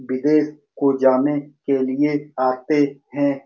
विदेश को जाने के लिए आते हैं।